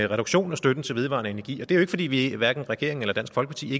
reduktion af støtten til vedvarende energi og det er jo ikke fordi hverken regeringen eller dansk folkeparti